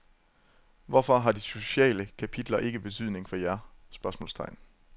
Hvorfor har de sociale kapitler ikke betydning for jer? spørgsmålstegn